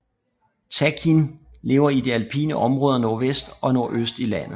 Takin lever i de alpine områder nordvest og nordøst i landet